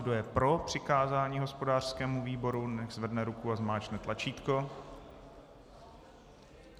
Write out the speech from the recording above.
Kdo je pro přikázání hospodářskému výboru, nechť zvedne ruku a zmáčkne tlačítko.